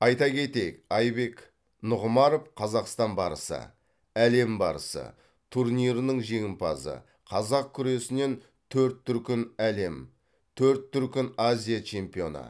айта кетейік айбек нұғымаров қазақстан барысы әлем барысы турнирінің жеңімпазы қазақ күресінен төрт дүркін әлем төрт дүркін азия чемпионы